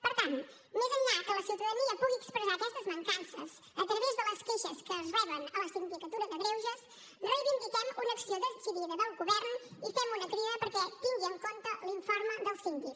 per tant més enllà que la ciutadania pugui expressar aquestes mancances a través de les queixes que es reben a la sindicatura de greuges reivindiquem una acció decidida del govern i fem una crida perquè tingui en compte l’informe del síndic